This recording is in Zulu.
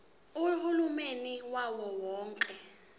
uhulumeni wawo wonke